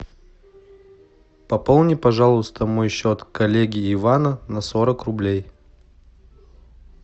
пополни пожалуйста мой счет коллеги ивана на сорок рублей